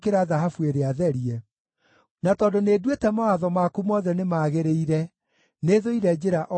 na tondũ nĩnduĩte mawatho maku mothe nĩmagĩrĩire, nĩthũire njĩra o yothe ĩtarĩ ya ma.